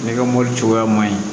Ne ka mobili cogoya man ɲi